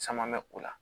Caman bɛ o la